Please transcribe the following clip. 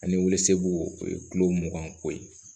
Ani weelew o ye kulo mugan ko ye